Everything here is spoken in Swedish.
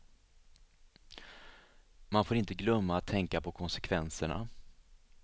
Man får inte glömma att tänka på konsekvenserna.